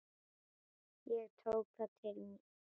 Ég tók það til mín.